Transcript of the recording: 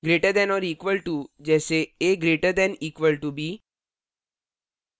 greater than or equal to से अधिक या बराबर : जैसेa> = b